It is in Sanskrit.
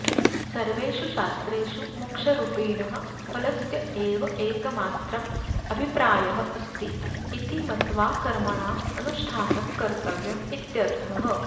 सर्वेषु शास्त्रेषु मोक्षरूपिणः फलस्य एव एकमात्रम् अभिप्रायः अस्ति इति मत्वा कर्मणाम् अनुष्ठानं कर्तव्यम् इत्यर्थः